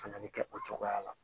Fana bɛ kɛ o cogoya la